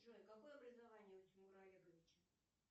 джой какое образование у тимура олеговича